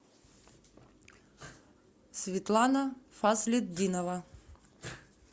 светлана фаслетдинова